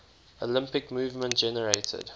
olympic movement generated